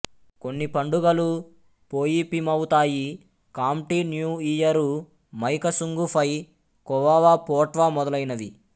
కొన్ని పండుగలు పోయిపీమౌ తాయి ఖాంప్టి న్యూ ఇయరు మైకసుంగుఫై ఖోవావా పోట్వా మొదలైనవి